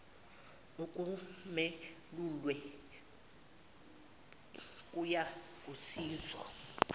olwemukelwe kuyia kusizo